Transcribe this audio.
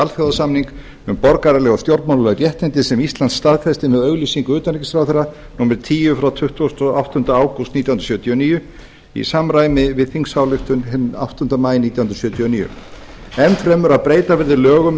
alþjóðasamning um borgaraleg og stjórnmálaleg réttindi sem ísland staðfesti með auglýsingu utanríkisráðherra númer tíu frá tuttugasta og áttunda ágúst nítján hundruð sjötíu og níu í samræmi við þingsályktun hinn áttunda maí nítján hundruð sjötíu og níu enn fremur að breyta verður lögum